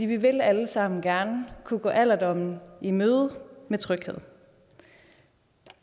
vi vil alle sammen gerne kunne gå alderdommen i møde med tryghed